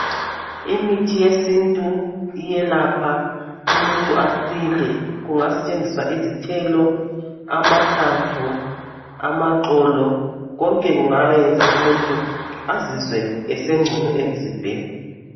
Imithi yesintu iyelapha umuntu asile. Kungasetshenziswa izithelo, amahlamvu, amaxolo. Konke kungayenza umuntu azizwe esengcono emzimbeni.